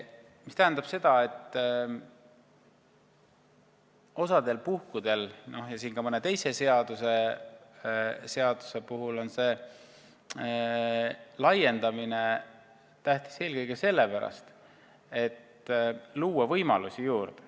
See tähendab seda, et osal puhkudel – ka mõne teise seaduse puhul – on see tähtis eelkõige sellepärast, et luua võimalusi juurde.